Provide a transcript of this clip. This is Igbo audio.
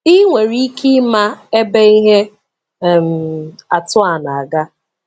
Ị nwere ike ịma ebe ihe um atụ a na-aga.